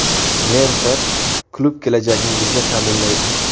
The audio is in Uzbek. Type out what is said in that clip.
Mentor klub kelajagingizni ta’minlaydi!